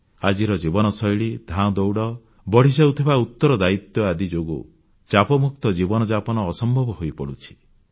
ଆମର ଆଜିକାର ଜୀବନଶୈଳୀ ଧାଁଦୌଡ଼ ବଢ଼ିଯାଉଥିବା ଉତ୍ତରଦାୟିତ୍ୱ ଆଦି ଯୋଗୁଁ ଚାପମୁକ୍ତ ଜୀବନଯାପନ ଅସମ୍ଭବ ହୋଇପଡ଼ୁଛି